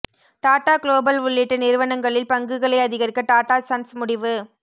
Tata global உள்ளிட்ட நிறுவனங்களில் பங்குகளை அதிகரிக்க டாடா சன்ஸ் முடிவு